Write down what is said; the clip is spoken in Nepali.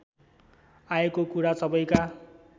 आएको कुरा सबैका